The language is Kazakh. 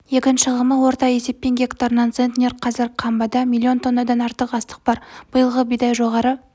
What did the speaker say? егін шығымы орта есеппен гектарына центнер қазір қамбада миллион тоннадан артық астық бар биылғы бидай жоғары